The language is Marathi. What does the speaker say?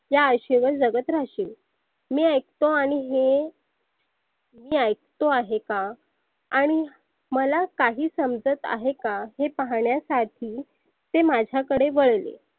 त्या आशेवर जगत राहशील. मी ऐकतो आणि हे मी ऐकतो आहे का? आणि मला काही समजत आहे का हे पाहण्यासाठी ते माझ्याकडे वळले.